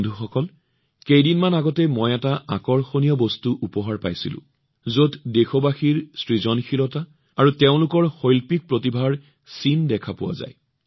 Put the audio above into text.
বন্ধুসকল কিছুদিন পূৰ্বে মই এক আকৰ্ষণীয় আৰু অভাৱনীয় বস্তুৰ সন্মুখীন হৈছিলো যি দেশবাসীৰ সৃজনশীলতা আৰু তেওঁলোকৰ শৈল্পিক প্ৰতিভাৰে পৰিপূৰ্ণ